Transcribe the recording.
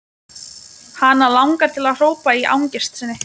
Hana langar til að hrópa í angist sinni.